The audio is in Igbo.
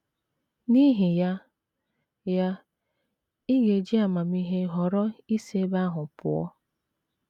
N’ihi ya, ya, ị ga - eji amamihe họrọ isi ebe ahụ pụọ.